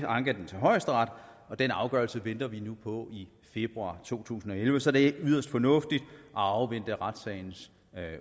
ankede den til højesteret og den afgørelse venter vi nu på i februar to tusind og elleve så det er yderst fornuftigt at afvente retssagens